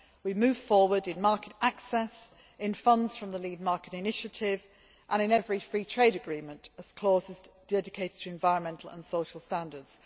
We move forward in market access, in funds from the Lead Market Initiative, and in every free trade agreement, as causes dedicated to environmental and social standards.